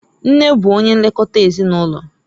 Nne bụ onye nlekota ezinụlọ.